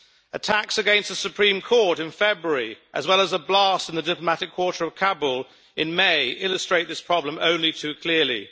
Attacks against the Supreme Court in February, as well as a blast in the diplomatic quarter of Kabul in May, illustrate this problem only too clearly.